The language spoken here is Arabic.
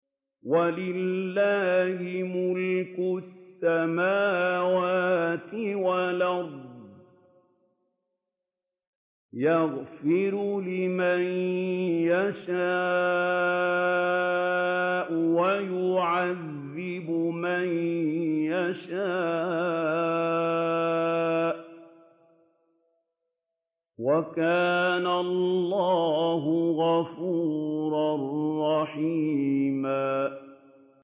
وَلِلَّهِ مُلْكُ السَّمَاوَاتِ وَالْأَرْضِ ۚ يَغْفِرُ لِمَن يَشَاءُ وَيُعَذِّبُ مَن يَشَاءُ ۚ وَكَانَ اللَّهُ غَفُورًا رَّحِيمًا